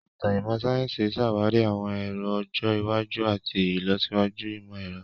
Ìtàn ìmọ̀ sáyẹ́sì ṣàwárí àwọn èrò ọjọ́ iwájú àti ìlọsíwájú ìmọ̀-ẹ̀rọ.